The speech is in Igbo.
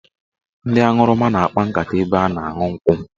Ndị aṅụrụma na-akpa nkata n'ebe a na-aṅụ nkwụ.